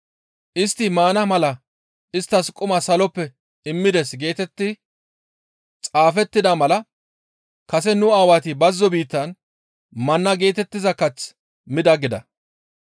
‹Istti maana mala isttas quma saloppe immides› geetetti xaafettida mala kase nu aawati bazzo biittan manna geetettiza kath mida» gida.